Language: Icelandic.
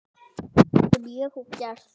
Sem ég og gerði.